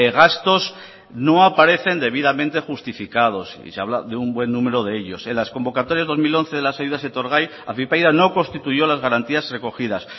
gastos no aparecen debidamente justificados y se habla de un buen número de ellos en las convocatorias dos mil once de las ayudas etorgai afypaida no constituyó las garantías recogidas